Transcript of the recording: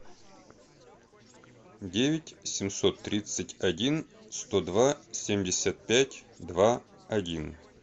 девять семьсот тридцать один сто два семьдесят пять два один